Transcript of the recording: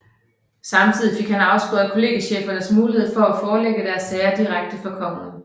Samtidig fik han afskåret kollegiechefernes mulighed for at forelægge deres sager direkte for kongen